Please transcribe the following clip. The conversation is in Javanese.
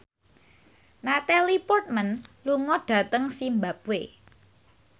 Natalie Portman lunga dhateng zimbabwe